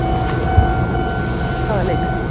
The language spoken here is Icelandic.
Leikrit, hvaða leikrit?